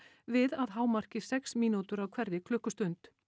við að hámarki sex mínútur á hverri klukkustund